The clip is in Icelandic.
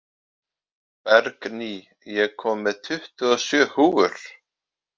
Bergný, ég kom með tuttugu og sjö húfur!